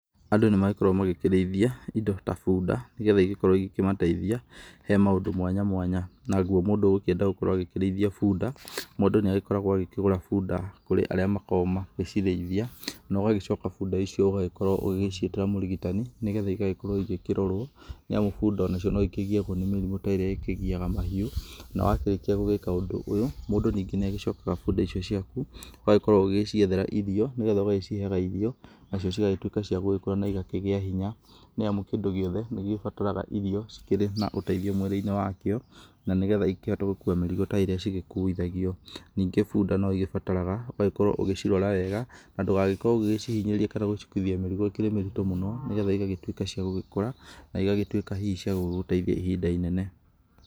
Andũ nĩmakoragwo magĩkĩrĩithia indo ta bunda nĩgetha igĩkorwo igĩmateithia, he maũndũ mwanya mwanya naguo mũndũ ũgũkĩenda agĩkĩrĩithia bunda mũndũ nĩagĩkoragwo agĩkĩgũra bunda kũrĩ arĩa makoragwo magĩcirĩithia. Na ũgagĩcoka bunda icio ũgagĩkorwo ũgĩciĩtĩra mũrigitani nĩgetha igagĩkorwo ĩkĩrorwo. Nĩamu bunda onacio nĩikĩgĩagwo nĩ mĩrimũ ta iria ĩkĩgĩaga mahiũ. Na wakĩrĩkia gũgĩka ũndũ ũyũ mũndũ ningĩ nĩagĩcokaga bunda icio ciaku ũgagĩkorwo ũgĩciĩthera irio nĩgetha ũgagĩciheaga irio nacio cigagĩtuĩka cia gũgĩkũra na igakĩgĩa hinya. Nĩamu kĩndũ gĩothe nĩgĩbataraga irio cikĩrĩ na ũteithio mwĩrĩinĩ wakĩo na nĩgetha ĩkĩhote gũkua mĩrigo ta ĩrĩa cigĩkuithagio. Nĩngĩ bunda no ĩgĩbataraga ĩgĩkĩrorwo ugĩcirora wega na ndũgagĩkorwo ũgĩcihinyĩrĩria kana gũcikuithia mĩrĩgo ĩkĩrĩ mĩritũ mũno nĩgetha igatuĩka cia gũgĩkũra na igagĩtuĩka hihi cia gũgũteithia ihinda inene.